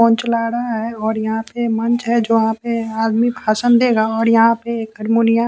phone चला रहा है और यहां पे मंच है जहां पे आदमी भाषण देगा और यहां पे हरमोनिया--